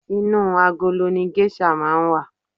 Inú agolo ni geisha máa n wa.